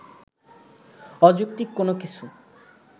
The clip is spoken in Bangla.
অযৌক্তিক কোনো কিছু